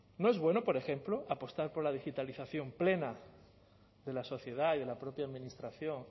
no es bueno por ejemplo apostar por la digitalización plena de la sociedad y de la propia administración